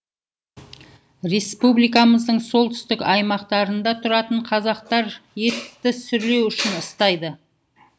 республикамыздың солтүстік аймақтарында тұратын қазақтар етті сүрлеу үшін ыстайды